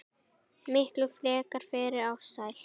Miklu frekar fyrir Ársæl.